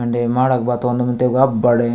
मडक बात तोन्द मिन्दे अब बड़े --